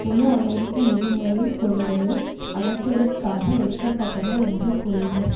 முழு அமெரிக்க நிதி முறையின் பொறிவையும் அகற்றுவதற்காக எடுக்க பட்டன என்று கூறினர்